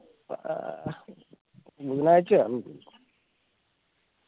ബുധനാഴ്ചർന്നു